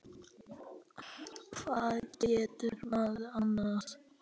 Hvað getur maður annað?